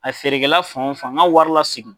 A feerekɛla fan o fan n ka wari lasegin.